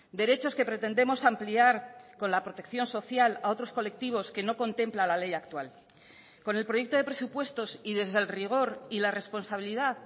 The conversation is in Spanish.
derechos que pretendemos ampliar con la protección social a otros colectivos que no contempla la ley actual con el proyecto de presupuestos y desde el rigor y la responsabilidad